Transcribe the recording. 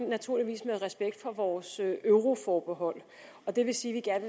naturligvis med respekt for vores euroforbehold det vil sige at